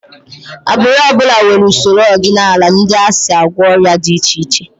Agbụrụ ọ bụla nwere usoro ọdịnala ndị ha si agwọ ọrịa dị iche iche